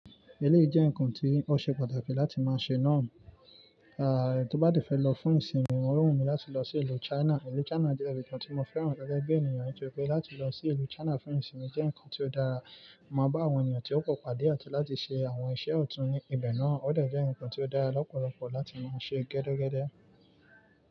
Èlé jẹ́ ǹkan tí ó ṣe pàtàkì láti máa ṣe náà. A, tó bá de fẹ́ lọ fún ìsinmi ò wù mí láti lọ sí ìlú China. Ìlú China jẹ́ ibi tí mo fẹ́ràn gege bi ènìyàn nitoripe láti lọ sí ìlú China fún ìsinmi jẹ́ ǹkan tí ó dára. Mo máa bá àwọn ènìyàn tí ó pò pàdé àtí láti ṣe àwọn iṣẹ́ ọ̀tún ní ibẹ̀ náà. Ó de jẹ́ ǹkan tí ó dára lọ́pọ̀lọpọ̀ láti máa ṣe gẹ́dẹ́gẹ́dẹ́.